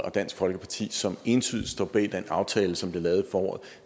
og dansk folkeparti som entydigt står bag den aftale som blev lavet i foråret